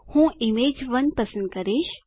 હું ઇમેજ1 પસંદ કરીશ